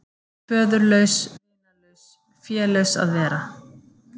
Föðurlaus, vinalaus, félaus að vera.